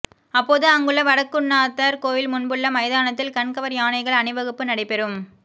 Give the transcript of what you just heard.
அப்போது அங்குள்ள வடக்குன்னாதர் கோயில் முன்புள்ள மைதானத்தில் கண்கவர் யானைகள் அணிவகுப்பு நடைபெறும்